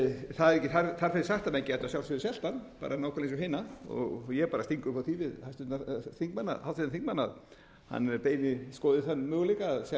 það er ekki þar með sagt að menn gætu að sjálfsögðu selt hann nákvæmlega eins og hina og ég sting upp á því við háttvirtan þingmann að hann skoði þann möguleika að selja